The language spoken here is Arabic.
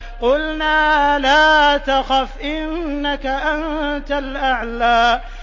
قُلْنَا لَا تَخَفْ إِنَّكَ أَنتَ الْأَعْلَىٰ